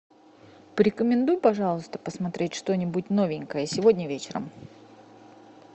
порекомендуй пожалуйста посмотреть что нибудь новенькое сегодня вечером